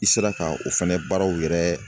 I sera ka o fɛnɛ baaraw yɛrɛ